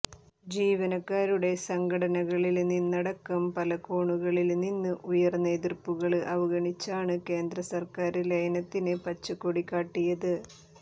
ജീവനക്കാരുടെ സംഘടനകളില് നിന്നടക്കം പലകോണുകളില് നിന്ന് ഉയര്ന്ന എതിര്പ്പുകള് അവഗണിച്ചാണ് കേന്ദ്ര സര്ക്കാര് ലയനത്തിന് പച്ചക്കൊടികാട്ടിയത്